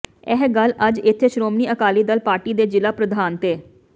ਇਹ ਗੱਲ ਅੱਜ ਇੱਥੇ ਸ਼ੋ੍ਮਣੀ ਅਕਾਲੀ ਦਲ ਪਾਰਟੀ ਦੇ ਜ਼ਿਲ੍ਹਾ ਪ੍ਰਧਾਨ ਤੇ